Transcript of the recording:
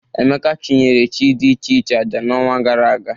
Emeka chụnyere chi dị iche iche aja n'ọnwa gara aga.